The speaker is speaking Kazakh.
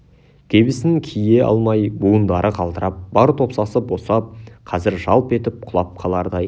кебісін кие алмай буындары қалтырап бар топсасы босап қазір жалп етіп құлап қалардай